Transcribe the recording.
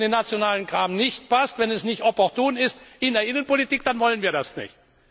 Wenn es mir nicht in den nationalen Kram passt, wenn es nicht opportun ist in der Innenpolitik, dann wollen wir das nicht.